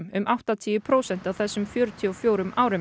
um áttatíu prósent á þessum fjörutíu og fjórum árum